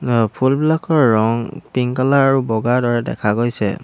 আ ফুলবিলাকৰ ৰং পিংক কালাৰ আৰু বগা দৰে দেখা গৈছে।